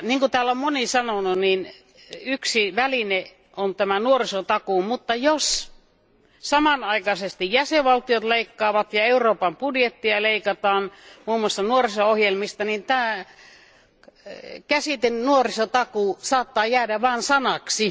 Niin kuin täällä on moni sanonut, yksi väline on tämä nuorisotakuu, mutta jos samanaikaisesti jäsenvaltiot leikkaavat ja Euroopan budjettia leikataan, muun muassa nuoriso ohjelmista, niin tämä käsite nuorisotakuu saattaa jäädä vain sanaksi.